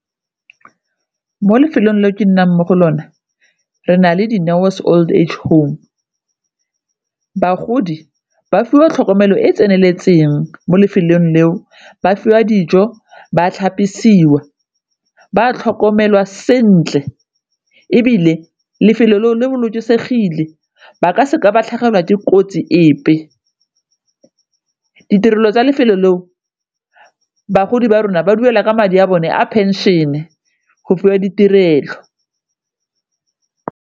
Mo lefelong leo ke nnang mo go lone re na le di Dineo's old age home, bagodi ba fiwa tlhokomelo e e tseneletseng mo lefelong leo ba fiwa dijo, ba tlhapisiwa, ba tlhokomelwa sentle, ebile lefelo leo le bolokesegile ba ka seka ba tlhagelwa dikotsi epe. Ditirelo tsa lefelo leo bagodi ba rona ba duela madi a bone a pension-e go fiwa ditirelo.